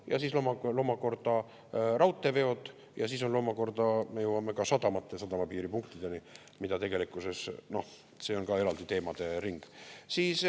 Ja siis omakorda raudteeveod ja siis veel omakorda me jõuame sadamate, sadama piiripunktideni – noh, see on ka eraldi teemade ring.